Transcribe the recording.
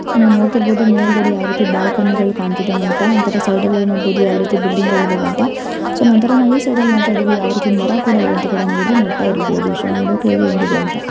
ನಾವು ನೋಡುತ್ತಿರಬಹುದು ಮೇಲ್ಗಡೆ ಯಾವ ರೀತಿ ಬಾಲ್ಕನಿಗಳು ಕಾಣ್ತಿದೆ ಅಂತ ನಂತರ ಸೈಡಲ್ಲಿ ನೋಡಬಹುದು ಯಾವ ರೀತಿ ಬಿಲ್ಡಿಂಗ್ ಗಳು ಇದ್ದಾವೆ ಅಂತ. ಸೋ ನಾವು ಈ ಸೈಡ್ ಅಲ್ಲಿ ನೋಡ್ತಾ ಇದೀವಿ ಯಾವ ರೀತಿ ಮರ ಕೂಡ ಇದೆ ಅಂತ ಕೂಡ ನೋಡ್ತಾ ಇರಬಹುದು ಸೋ ನೋಡೋಕೆ ಇದು ಹೆಂಗಿದೆ ಅಂತ.